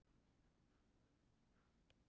Hér að ofan má sjá afraksturinn.